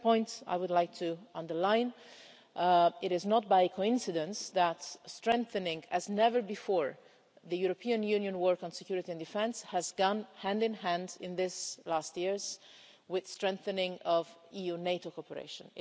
The second point I would like to underline it is not by coincidence that a strengthening, as never before, of the European Union work on security and defence has gone hand-in-hand in these last years with a strengthening of EU-NATO cooperation.